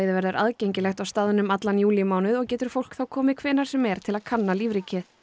verður aðgengilegt á staðnum allan júlímánuð og getur fólk þá komið hvenær sem er til að kanna lífríkið